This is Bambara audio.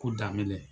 Ko daminɛ